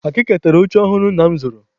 Akịka tara oche ọhụrụ nna m zụrụ.